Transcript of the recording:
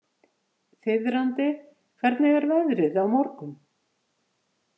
Þiðrandi, hvernig er veðrið á morgun?